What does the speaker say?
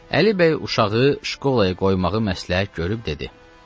Əli bəy uşağı şkolaya qoymağı məsləhət görüb dedi: